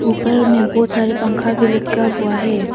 ऊपर में बहुत सारे पंखा भी लटका हुआ है।